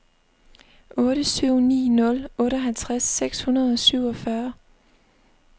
otte syv ni nul otteoghalvtreds seks hundrede og syvogfyrre